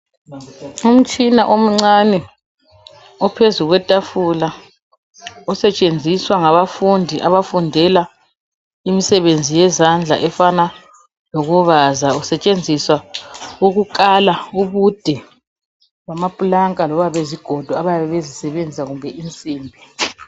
Umtshina omncane ophezu kwetafula osetshenziswa ngabafundi abafundela imisebenzi yezandla efana lokubaza usetshenziswa ukukala ubude bamapulanka loba izigodo bayabe bezisebenzisa kumbe insimbi.